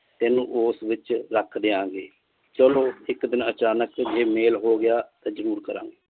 ਤੈਨੂੰ ਉਸ ਵਿਚ ਰੱਖ ਦਿਆਂ ਗੇ ਚਲੋ ਇਕ ਦਿਨ ਅਚਾਨਕ ਜੇ ਮੇਲ ਹੋ ਗਿਆ ਤਾਂ ਜਰੂਰ ਕਰਾਂਗੇ